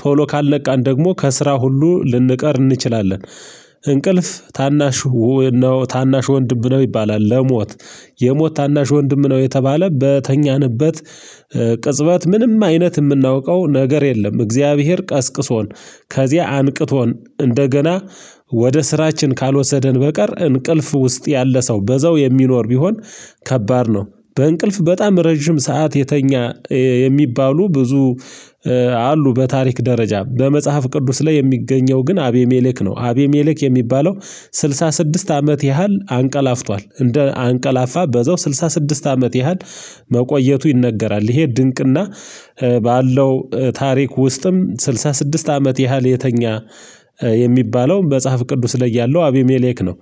ቶሎ ካልነቃን ደግሞ ከስራ ሁሉ ልንቀር እንችላለን። እንቅልፍ ታናሽ ነው ታናሽ ወንድም ነው ይባላል። ለሞት የሞት ታናሽ ወንድም ነው የተባለው በተኛንበት ቅጽበት ምንም አይነት የምናውቀው ነገር የለም። እግዚአብሔር ቀስቅሶን ከዚያ አንቅቶን እንደገና ወደ ስራችን ካልወሰደን በቀር እንቅልፍ ውስጥ ያለ ሰው በዘው የሚኖር ቢሆን ከባድ ነው። በእንቅልፍ በጣም ረጅም ሰዓት የተኛ የሚባሉ ብዙ አሉ። በታሪክ ደረጃ በመጽሐፍ ቅዱስ ላይ የሚገኘው ግን አቤሜሌክ ነው። አቤሜሌክ የሚባለው ስልሳ ስድስት አመት ያህል አንቀላፍቷል እንደ አንቀላፋ በዛው ስልሳ ስድስት አመት ያህል መቆየቱ ይነገራል። ይሄ ድንቅና ባለው ታሪክ ውስጥም ስልሳ ስድስት አመት ያህል የተኛ የሚባለው መጽሐፍ ቅዱስ ላይ ያለው አቢሜሌክ ነው